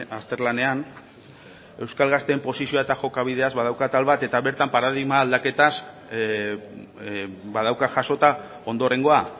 azterlanean euskal gazteen posizioa eta jokabidea badauka atal bat eta bertan paradigma aldaketaz badauka jasota ondorengoa